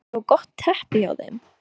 Er þetta ekki svo gott teppi hjá þeim?